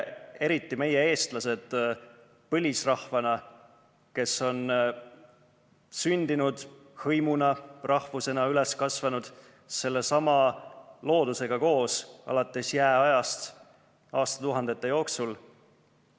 Eriti meile, eestlastele, põlisrahvana, kes me oleme sündinud hõimuna, rahvusena üles kasvanud sellesama loodusega koos, alates jääajast aastatuhandete jooksul.